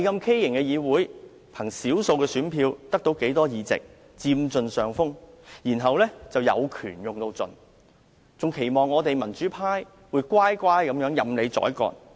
他們憑少數選票取得多數議席，佔盡上風，更有權用盡，而且期望我們民主派會乖乖地任人宰割。